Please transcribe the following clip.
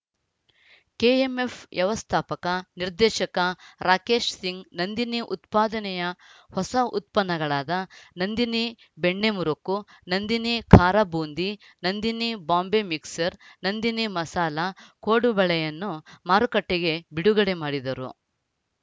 KMF ವ್ಯವಸ್ಥಾಪಕ ನಿರ್ದೇಶಕ ರಾಕೇಶ್‌ಸಿಂಗ್‌ ನಂದಿನಿ ಉತ್ಪಾದನೆಯ ಹೊಸ ಉತ್ಪನ್ನಗಳಾದ ನಂದಿನಿ ಬೆಣ್ಣೆ ಮುರಕು ನಂದಿನಿ ಖಾರ ಬೂಂದಿ ನಂದಿನಿ ಬಾಂಬೆ ಮಿಕ್ಸರ್‌ ನಂದಿನಿ ಮಸಾಲ ಕೊಡಬಳೆಯನ್ನು ಮಾರುಕಟ್ಟೆಗೆ ಬಿಡುಗಡೆ ಮಾಡಿದರು